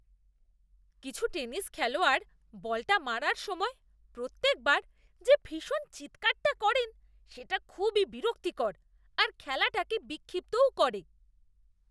কিছু টেনিস খেলোয়াড় বলটা মারার সময় প্রত্যেকবার যে ভীষণ চিৎকারটা করেন, সেটা খুবই বিরক্তিকর আর খেলাটাকে বিক্ষিপ্তও করে।